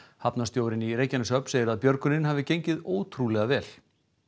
Reykjaneshöfn segir að björgunin hafi gengið ótrúlega vel